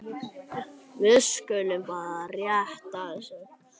Við skulum fara rétt að þessu.